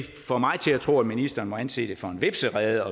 får mig til at tro at ministeren må anse det for en hvepserede